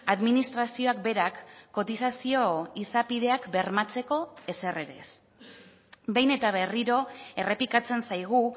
administrazioak berak kotizazio izapideak bermatzeko ezer ere ez behin eta berriro errepikatzen zaigu